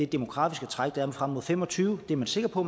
demografiske træk der er frem og fem og tyve er man sikker på